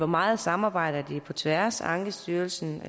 meget samarbejder de på tværs ankestyrelsen og